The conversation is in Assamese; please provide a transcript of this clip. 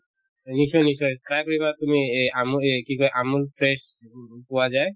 নিশ্চয় নিশ্চয় try কৰিবা তুমি এই আমো এই কি কই আমোল fresh উম পোৱা যায়